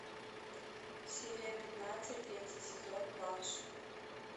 серия пятнадцать третий сезон банши